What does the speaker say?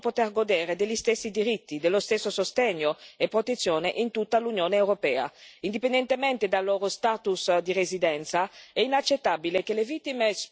Le vittime di reato devono poter godere degli stessi diritti, dello stesso sostegno e protezione in tutta l'Unione europea, indipendentemente dal loro status di residenza.